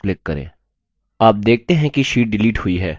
आप देखते हैं कि sheet डिलीट हुई है